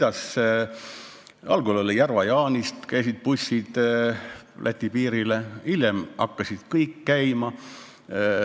Algul käisid bussid Järva-Jaanist Läti piirile, hiljem hakkasid kõik käima.